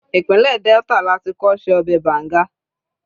ipinle Delta lati kọ́ se ọbè banga